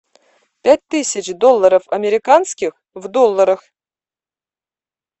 пять тысяч долларов американских в долларах